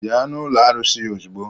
Bịa n'ụlọ arụsị ozugbo!